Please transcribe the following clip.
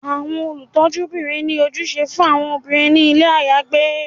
Awọn olutọjúbirin ni ojúsẹ fun awọn obirin ni ilé ayagbé